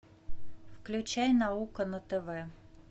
включай наука на тв